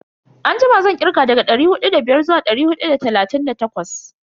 Anjima zan kirga daga dari hudu da biyar zuwa dari hudu da talatin da takwas.